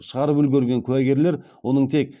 шығарып үлгерген куәгерлер оның тек